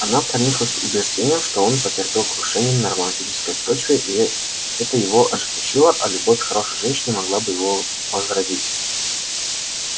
она прониклась убеждением что он потерпел крушение на романтической почве и это его ожесточило а любовь хорошей женщины могла бы его возродить